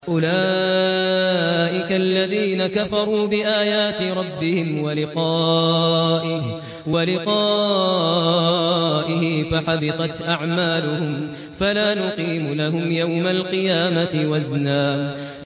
أُولَٰئِكَ الَّذِينَ كَفَرُوا بِآيَاتِ رَبِّهِمْ وَلِقَائِهِ فَحَبِطَتْ أَعْمَالُهُمْ فَلَا نُقِيمُ لَهُمْ يَوْمَ الْقِيَامَةِ وَزْنًا